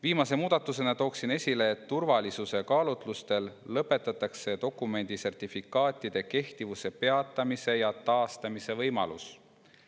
Viimase muudatusena toon esile, et turvalisuse kaalutlustel lõpetatakse dokumendi sertifikaatide kehtivuse peatamise ja taastamise võimalus.